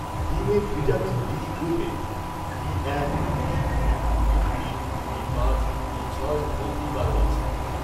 ডিমে vitamin B গ্রুপের B এক, বি দুই, বি তিন, বি পাঁচ, বি ছয় ও বি বারো আছে